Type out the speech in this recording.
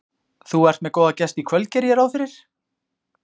Þú ert með góða gesti í kvöld geri ég ráð fyrir?